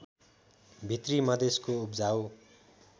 भित्री मधेशको उब्जाउ